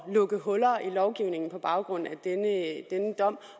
lukke huller i lovgivningen på baggrund af denne dom